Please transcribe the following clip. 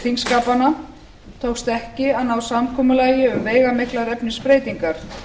þingskapanna tókst ekki að ná samkomulagi um veigamiklar efnisbreytingar